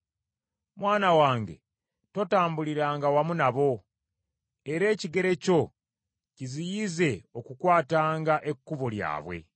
Mwana wange totambuliranga wamu nabo, era ekigere kyo kiziyize okukwatanga ekkubo lyabwe: